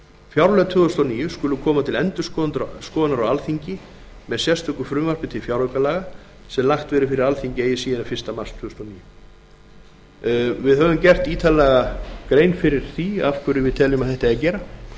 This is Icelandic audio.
fjárlög fyrir árið tvö þúsund og níu skulu koma til endurskoðunar á alþingi með sérstöku frumvarpi til fjáraukalaga sem lagt verði fyrir alþingi eigi síðar en fyrsta mars tvö þúsund og níu við höfum gert ítarlega grein fyrir því af hverju við teljum að þetta eigi að gera